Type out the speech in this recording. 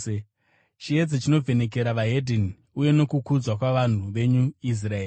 chiedza chinovhenekera veDzimwe Ndudzi uye nokukudzwa kwavanhu venyu Israeri.”